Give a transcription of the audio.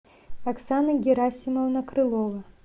оксана герасимовна крылова